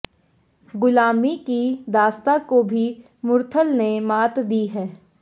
गुलामी की दांस्ता को भी मुरथल ने मात दी है